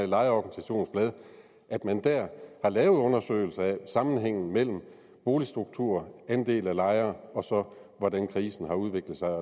lejeorganisations blad har lavet en undersøgelse af sammenhængen mellem boligstruktur andel af lejere og så hvordan krisen har udviklet sig